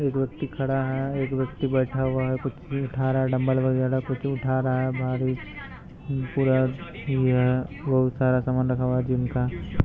एक व्यक्ति खड़ा है। एक व्यक्ति बैठा हुआ है। कुछ उठा रहा है डम्बेल वागेरह कुछ उठा रहा है बाहर भी पूरा ये वो सारा सामान रखा हुआ है जिम का।